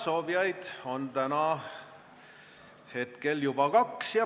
Soovijaid on täna hetkel juba kaks.